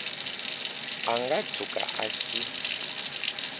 a nga tshuka a xi